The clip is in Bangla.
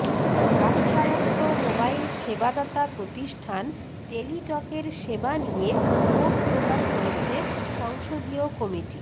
রাষ্ট্রায়ত্ত মোবাইল সেবাদাতা প্রতিষ্ঠান টেলিটকের সেবা নিয়ে ক্ষোভ প্রকাশ করেছে সংসদীয় কমিটি